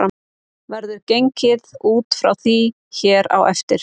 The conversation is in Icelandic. Verður gengið út frá því hér á eftir.